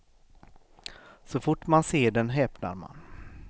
Så fort man ser den häpnar man.